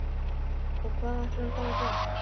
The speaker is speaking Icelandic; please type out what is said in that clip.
Og hvað ætlarðu þá að gera?